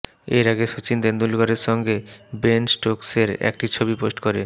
এর আগে সচিন তেন্ডুলকরের সঙ্গে বেন স্টোকসের একটি ছবি পোস্ট করে